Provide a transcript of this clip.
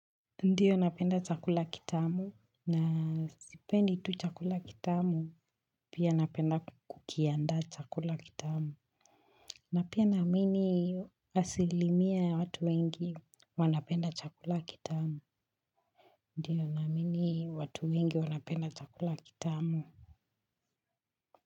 Ndiyo napenda chakula kitamu, na sipendi tu chakula kitamu, pia napenda kukianda chakula kitamu, na pia naamini asilimia ya watu wengi wanapenda chakula kitamu, ndiyo naamini watu wengi wanapenda chakula kitamu.